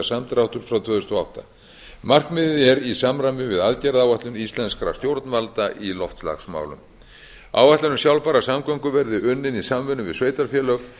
samdráttur frá tvö þúsund og átta markmiðið er í samræmi við aðgerðaáætlun íslenskra stjórnvalda í loftslagsmálum áætlun um sjálfbærar samgöngur verði unnin í samvinnu við sveitarfélög